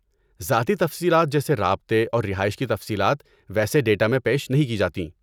ذاتی تفصیلات جیسے رابطے اور رہائش کی تفصیلات ویسے ڈیٹا میں پیش نہیں کی جاتیں۔